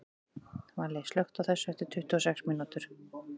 Valli, slökktu á þessu eftir tuttugu og sex mínútur.